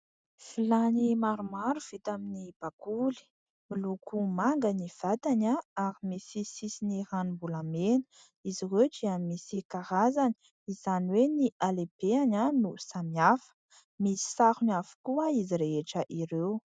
Vilany maromaro vita amin'ny bakoly. Miloko manga ny vatany ary misy sisiny ranombolamena. Izy ireo dia misy karazany, izany hoe ny halehibeny no samy hafa. Misy sarony avokoa iz rehetra ireo.